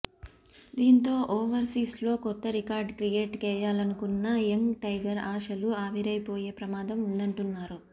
దీంతో ఓవర్సీస్ లో కొత్త రికార్డ్ క్రియేట్ చేయాలనుకున్న యంగ్ టైగర్ ఆశలు ఆవిరైపోయే ప్రమాదం ఉందంటున్నారు